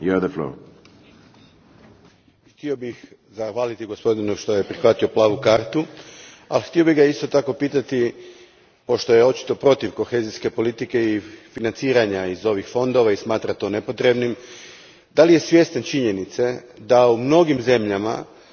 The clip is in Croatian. Htio bih zahvaliti gospodinu što je prihvatio plavu kartu, a htio bih ga isto tako pitati, jer je očito protiv kohezijske politike i financiranja iz ovih fondova i smatra to nepotrebnim, da li je svjestan činjenice da u mnogim zemljama danas upravo novci iz